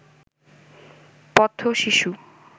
পথশিশু